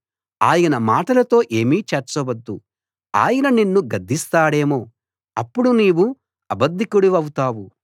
ఆయన మాటలతో ఏమీ చేర్చవద్దు ఆయన నిన్ను గద్దిస్తాడేమో అప్పుడు నీవు అబద్ధికుడివౌతావు